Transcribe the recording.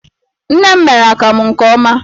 Nne m mere akamụ nke ọma.